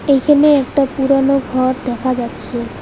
এইখানে একটা পুরানো ঘর দেখা যাচ্ছে।